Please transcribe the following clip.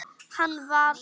Hann var.